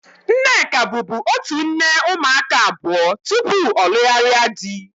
Nneka bubu otu nne ụmụaka abụọ tupu ọ lugharia dị